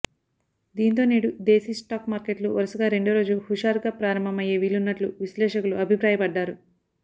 దీంతో నేడు దేశీ స్టాక్ మార్కెట్లు వరుసగా రెండో రోజు హుషారుగా ప్రారంభమయ్యే వీలున్నట్లు విశ్లేషకులు అభిప్రాయపడ్డారు